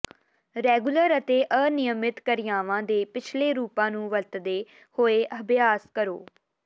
regular ਅਤੇ ਅਨਿਯਮਿਤ ਕਿਰਿਆਵਾਂ ਦੇ ਪਿਛਲੇ ਰੂਪਾਂ ਨੂੰ ਵਰਤਦੇ ਹੋਏ ਅਭਿਆਸ ਕਰੋ